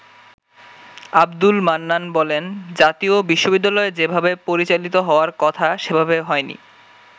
আব্দুল মান্নান বলেন, “জাতীয় বিশ্ববিদ্যালয় যেভাবে পরিচালিত হওয়ার কথা সেভাবে হয়নি।